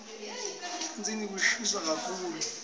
ehlandzeni kushisa kakhulu